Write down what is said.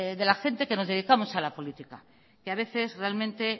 de la gente que nos dedicamos a la política a veces realmente